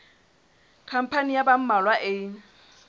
khampani ya ba mmalwa e